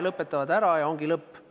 Lõpetavad ära, ja ongi lõpp.